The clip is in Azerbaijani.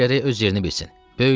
Uşaq gərək öz yerini bilsin.